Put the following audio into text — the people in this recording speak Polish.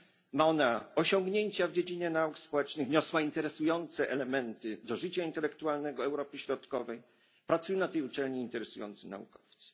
Ma ona osiągnięcia w dziedzinie nauk społecznych, wniosła interesujące elementy do życia intelektualnego Europy Środkowej, pracują na tej uczelni interesujący naukowcy.